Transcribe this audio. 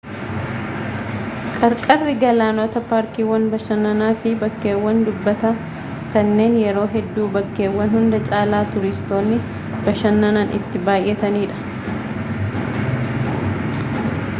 qarqarri galaanootaa paarkiiwwan bashannanaa fi bakkeewwan qubataa kanneen yeroo hedduu bakkeewwan hunda caalaa tuuristoonni bashannanan itti baay'atanidha